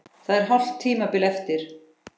Það er hálft tímabil eftir!